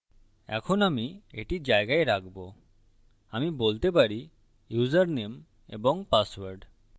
এখন আমি এটি জায়গায় রাখবো আমি বলতে পারি ইউসারনেম এবং পাসওয়ার্ড